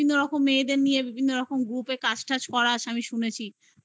বিভিন্ন রকম মেয়েদের নিয়ে বিভিন্ন রকম group কাজ টাজ করাস আমি শুনেছি